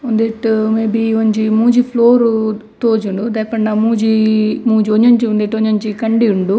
ಉಂದೆಟ್ ಮೇಬಿ ಒಂಜಿ ಮೂಜಿ ಫ್ಲೋರ್ ತೋಜುಂಡು ದಾಯೆಪಂಡ ಮೂಜೀ ಮೂಜಿ ಒಂಜೊಂಜಿ ಉಂದೆಟ್ ಒಂಜೊಂಜಿ ಕಂಡಿ ಉಂಡು.